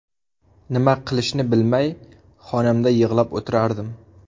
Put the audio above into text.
Nima qilishni bilmay, xonamda yig‘lab o‘tirardim.